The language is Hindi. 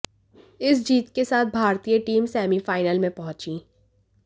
इस जीत के साथ भारतीय टीम सेमीफाइनल में पहुंची